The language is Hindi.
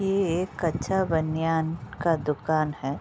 ये एक कच्छा बनियान का दुकान है।